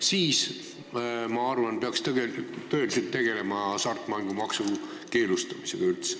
Siis, ma arvan, peaks tõeliselt hakkama tegelema hasartmängumaksu keelustamisega üldse.